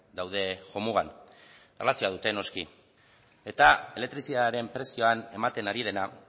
daude jomugan eta erlazioa dute noski eta elektrizitatearen prezioan ematen ari dena